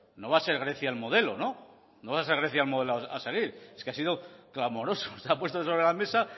no va a ser grecia el modelo no no va a ser grecia el modelo a seguir es que ha sido clamoroso has puesto sobre la mesa